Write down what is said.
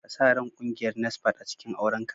Ka sa ran kungiyar NASFAT a cikin auren ka